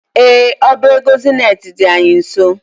Ee, ọba ego zenet dị anyị nso.